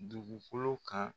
Dugukolo kan.